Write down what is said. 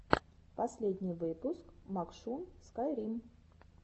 последний выпуск макшун скайрим